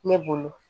Ne bolo